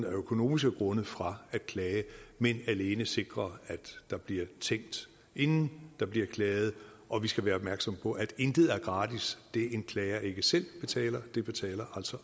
økonomiske grunde fra at klage men alene sikrer at der bliver tænkt inden der bliver klaget og vi skal være opmærksomme på at intet er gratis det en klager ikke selv betaler betaler